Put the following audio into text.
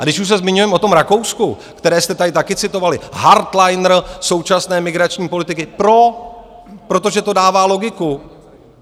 A když už se zmiňujeme o tom Rakousku, které jste tady také citovali, hardleiner současné migrační politiky pro, protože to dává logiku.